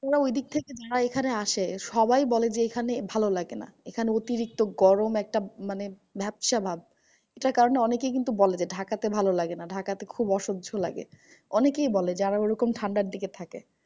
ওরা ঐদিক থেকে যারা এখানে আসে সবাই বলে যে, এইখানে ভালো লাগে না। এখানে অতিরিক্ত গরম একটা মানে একটা ভ্যাপসা ভাব। যেটার কারণে অনেকেই কিন্তু বলে যে, ঢাকাতে ভালো লাগেনা। ঢাকাতে খুব অসহ্য লাগে অনেকেই বলে যারা ঐরকম ঠান্ডার দিকে থাকে।